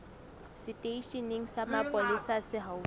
seteisheneng sa mapolesa se haufi